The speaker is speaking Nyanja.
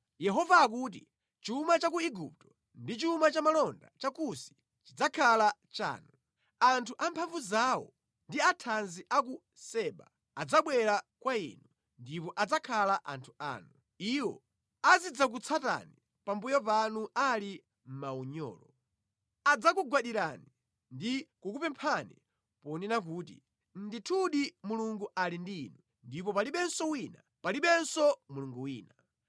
Yehova akuti, “Chuma cha ku Igupto ndi chuma cha malonda cha Kusi chidzakhala chanu. Anthu amphamvu zawo ndi athanzi a ku Seba adzabwera kwa inu ndipo adzakhala anthu anu; iwo adzidzakutsatani pambuyo panu ali mʼmaunyolo. Adzakugwadirani ndi kukupemphani, ponena kuti, ‘Ndithudi Mulungu ali ndi inu, ndipo palibenso wina; palibenso mulungu wina.’ ”